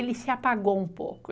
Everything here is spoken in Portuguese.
Ele se apagou um pouco.